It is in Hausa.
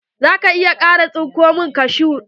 Za ka iya kara tsinko min kashu?